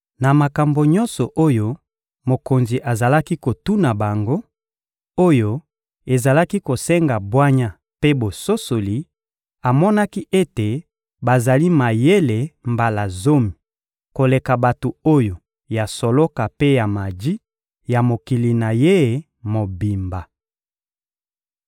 Na makambo nyonso oyo mokonzi azalaki kotuna bango, oyo ezalaki kosenga bwanya mpe bososoli, amonaki ete bazali mayele mbala zomi koleka bato ya soloka mpe ya maji ya mokili na ye mobimba.